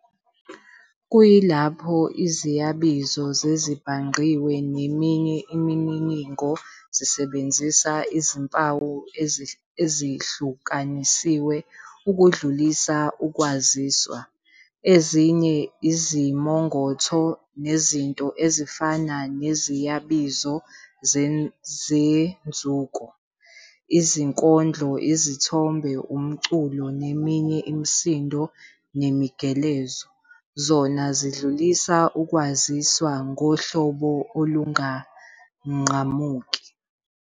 Kuyilapho iziyabizo zezibhangqiwe neminye imininingo zisebenzisa izimpawu ezihlukanisiwe ukudlulisa ukwaziswa, ezinye izimongotho nezinto ezifana neziyabizo zenzuko, izinkondlo, izithombe, umculo neminye imisindo nemigelezo, zona zidlulisa ukwaziswa ngohlobo olunganqamuki.